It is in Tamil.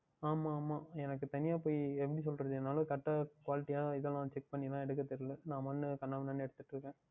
ஆமாம் ஆமாம் எனக்கு தனியாக சென்று எப்படி செல்லுவது எனக்கு Correct டகா Quality யாக இதுயெல்லாம் Check பண்ணி எடுக்க தெரியாது ல நான் பாட்டிற்க்கு கண்ணா பின்னா என்று எடுத்துக்கொண்டு இருக்கேன்